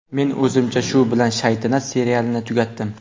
Men o‘zimcha shu bilan ‘Shaytanat’ serialini tugatdim.